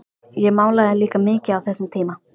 Ég málaði líka mikið á þessum tíma.